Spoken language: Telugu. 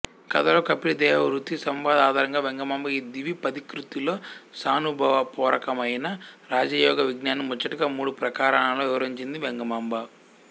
ఈ కధలోని కపిలదేవహుతి సంవాదం ఆధారంగా వెంగమ్మ ఈ ద్విపదికృతిలో స్వానుభవపొర్వకమైన రాజయోగ విజ్ఞానాన్ని ముచ్చటగా మూడుప్రకరణాల్లో వివరించింది వెంగమాంబ